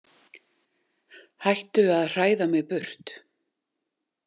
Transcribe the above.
Hættu að hræða mig burt.